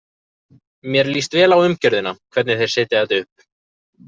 Mér líst vel á umgjörðina, hvernig þeir setja þetta upp.